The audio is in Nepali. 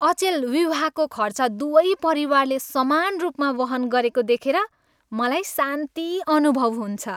अचेल विवाहको खर्च दुवै परिवारले समान रूपमा वहन गरेको देखेर मलाई शान्ति अनुभव हुन्छ।